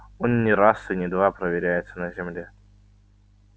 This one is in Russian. он не раз и не два проверяется на земле